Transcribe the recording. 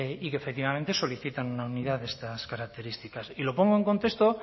y que efectivamente solicitan una unidad de estas características y lo pongo en contexto